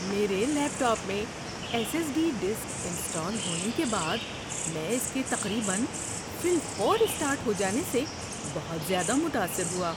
میرے laptop میں S S D disk install ہونے کے بعد میں اس کے تقریباً فی الفور سٹارٹ ہو جانے سے بہت زیادہ متاثر ہوا۔